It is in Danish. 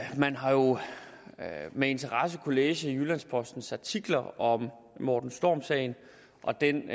man har jo med interesse kunnet læse i jyllands postens artikler om morten storm sagen og den